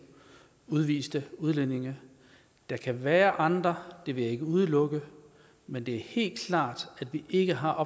udviste udlændinge der kan være andre det vil jeg ikke udelukke men det er helt klart at vi ikke har